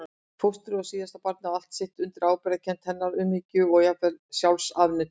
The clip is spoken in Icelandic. Fóstrið og síðan barnið á allt sitt undir ábyrgðarkennd hennar, umhyggju og jafnvel sjálfsafneitun.